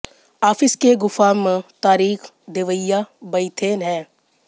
office के गुफा म तारीख देवइया बइथे हें